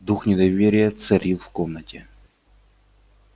дух недоверия царил в комнате